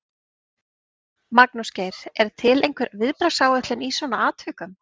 Magnús Geir: Er til einhver viðbragðsáætlun í svona atvikum?